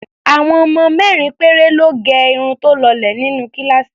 Àwọn ọmọ mẹ́rin péré lọ́ gẹ irun tó lọlẹ̀ nínú kíláàsì mi.